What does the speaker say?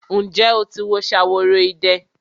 Ǹjẹ́ o ti wo Ṣaworoide?